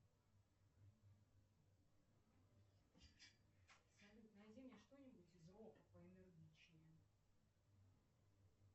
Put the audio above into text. салют найди мне что нибудь из рока поэнергичнее